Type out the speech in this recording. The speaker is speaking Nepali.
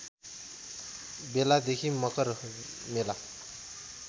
बेलादेखि मकर मेला